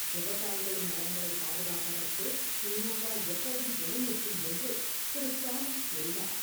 விவசாயிகளின் நலன்களைப் பாதுகாப்பதற்கு தி.மு.க. எப்போதும் துணை நிற்கும் என்றும் திரு. ஸ்டாலின் கூறினார்.